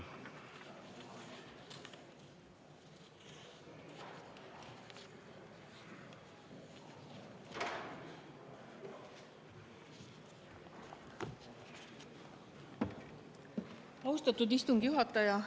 Austatud istungi juhataja!